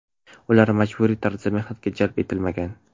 Ular majburiy tarzda mehnatga jalb etilmagan.